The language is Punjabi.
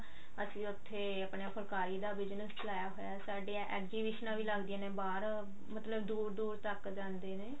ਉੱਥੇ ਆਪਣਾ ਫੁਲਕਾਰੀ ਦਾ business ਚਲਾਇਆ ਹੋਇਆ ਸਾਡੀ exhibition ਵੀ ਲੱਗਦੀਆਂ ਬਾਹਰ ਮਤਲਬ ਦੁਰ ਦੁਰ ਤੱਕ ਜਾਂਦੇ ਨੇ